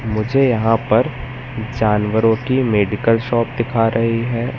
मुझे यहां पर जानवरों की मेडिकल शॉप दिखा रही है।